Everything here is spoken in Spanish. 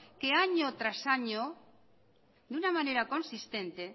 que año tras año de una manera consistente